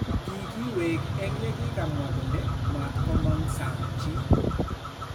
Kikiweek eng' yakimwaa kole matkomong' saang' chii